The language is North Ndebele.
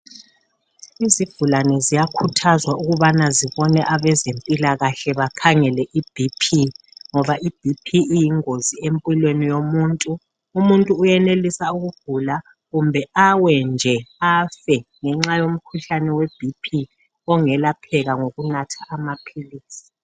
Izigulane ziyakhuthazwa ukubana zibone abezempilakahle bakhangeleke iBP ngoba iBP iyingozi empilweni yomuntu, umuntu uyenelisa ukugula kumbe awe nje afe ngenxa yomkhuhlane weBP ongelapheka ngokunatha amaphilisi.